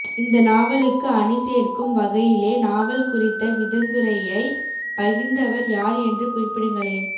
இந்த நாவலுக்கு அணி சேர்க்கும் வகையிலே நாவல் குறித்த விதந்துரையைப் பகிர்ந்தவர் யார் என்று குறிப்பிடுங்களேன்